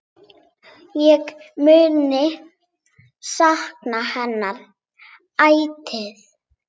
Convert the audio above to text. Ég mun sakna hennar ætíð.